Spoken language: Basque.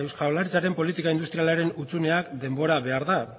jaurlaritzaren politika industrialaren hutsuneak denbora behar du